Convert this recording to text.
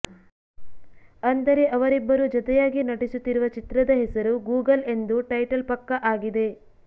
ಅಂದರೆ ಅವರಿಬ್ಬರು ಜತೆಯಾಗಿ ನಟಿಸುತ್ತಿರುವ ಚಿತ್ರದ ಹೆಸರು ಗೂಗಲ್ ಎಂದು ಟೈಟಲ್ ಪಕ್ಕಾ ಆಗಿದೆ